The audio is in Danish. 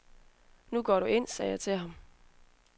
Nu går du ind, sagde jeg til ham.